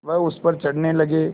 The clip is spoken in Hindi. वह उस पर चढ़ने लगे